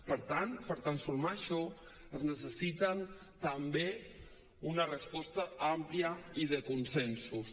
per tant per transformar això es necessita també una resposta àmplia i de consensos